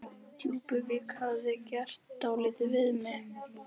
Djúpuvík hefði gert dálítið við mig.